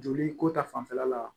Joli ko ta fanfɛla la